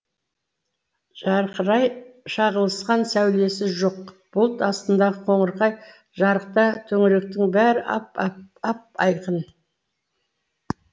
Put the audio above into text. жарқырай шағылысқан сәулесі жоқ бұлт астындағы қоңырқай жарықта төңіректің бәрі ап айқын